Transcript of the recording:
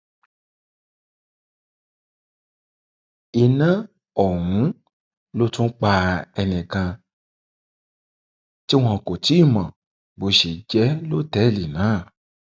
iná ọhún ló tún pa ẹnìkan tí wọn kò tì í mọ bó ṣe jẹ lọtẹẹlì náà